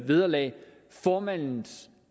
vederlag og formandens